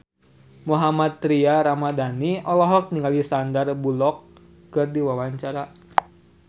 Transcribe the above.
Mohammad Tria Ramadhani olohok ningali Sandar Bullock keur diwawancara